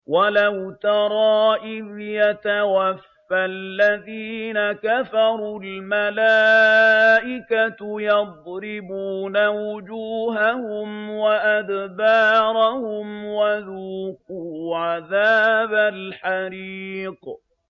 وَلَوْ تَرَىٰ إِذْ يَتَوَفَّى الَّذِينَ كَفَرُوا ۙ الْمَلَائِكَةُ يَضْرِبُونَ وُجُوهَهُمْ وَأَدْبَارَهُمْ وَذُوقُوا عَذَابَ الْحَرِيقِ